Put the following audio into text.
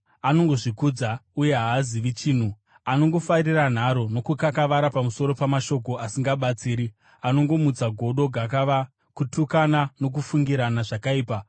anongozvikudza uye haazivi chinhu. Anongofarira nharo nokukakavara pamusoro pamashoko asingabatsiri, anongomutsa godo, gakava, kutukana nokufungirana zvakaipa,